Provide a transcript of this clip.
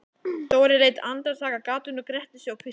Dóri leit andartak af gatinu, gretti sig og hvíslaði